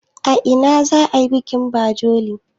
a ina za a yi bikin bajekolin?